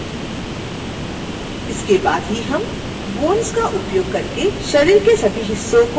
इसके बाद ही हम bones का उपयोग करके शरीर के सभी हिस्सों को एनीमेट कर सकते हैं